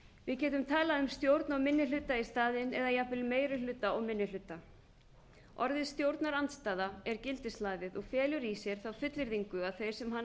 við getum talað um stjórn og minni hluta í staðinn eða jafnvel meiri hluta og minni hluta orðið stjórnarandstaða er gildishlaðið og felur í sér þá fullyrðingu að þeir sem hana